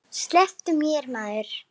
Slepptu mér maður.